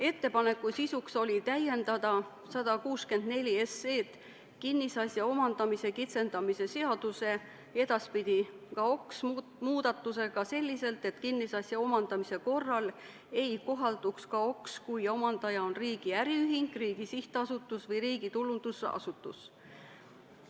Ettepaneku sisu oli täiendada 164 SE kinnisasja omandamise kitsendamise seaduse ehk KAOKS-i muudatusega selliselt, et kinnisasja omandamise korral ei kohalduks KAOKS, kui omandaja on riigi äriühing, riigi sihtasutus või riigi tulundusasutus.